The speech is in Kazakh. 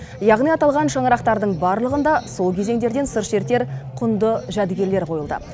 яғни аталған шаңырақтардың барлығында сол кезеңдерден сыр шертер құнды жәдігерлер қойылды